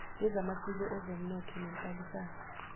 lwezamasiko ezonomnotho nezenhlalisano